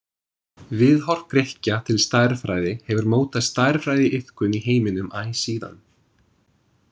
Viðhorf Grikkja til stærðfræði hefur mótað stærðfræðiiðkun í heiminum æ síðan.